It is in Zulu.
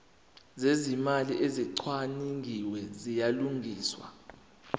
zezimali ezicwaningiwe ziyalungiswa